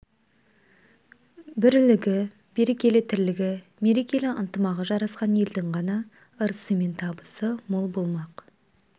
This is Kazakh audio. бірлігі берекелі тірлігі мерекелі ынтымағы жарасқан елдің ғана ырысы мен табысы мол болмақ